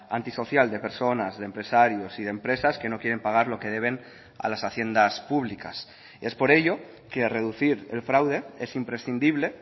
antisocial de personas de empresarios y de empresas que no quieren pagar lo que deben a las haciendas públicas es por ello que reducir el fraude es imprescindible